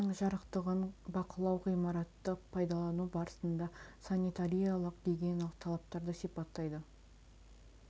бөлменің жарықтығын бақылау ғимаратты пайдалану барысында санитариялық гигиеналық талаптарды сипаттайды